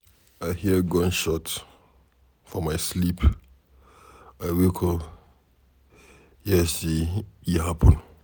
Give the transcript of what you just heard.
I hear gunshot for my sleep, I wake up hear say e happen.